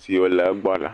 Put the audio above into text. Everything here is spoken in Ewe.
siwo le egbɔ la